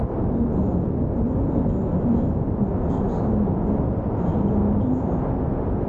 ó ga ọ́ olórí odò ìlú yìí pokùnso sínú igbó èyí lohun tó fà á